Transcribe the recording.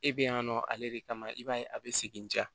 E be yan nɔ ale de kama i b'a ye a be segin diya